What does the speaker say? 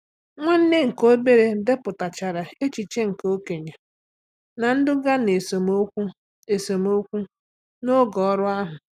Nwanne nke obere depụtachara echiche nke okenye, na-eduga na esemokwu esemokwu n'oge ọrụ ahụ.